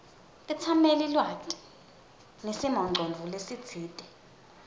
tetsamelilwati nesimongcondvo lesitsite